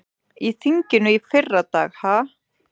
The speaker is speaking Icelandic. Í þinginu í fyrradag ha?